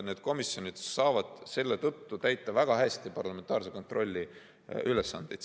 Need komisjonid saavad selle tõttu täita väga hästi parlamentaarse kontrolli ülesandeid.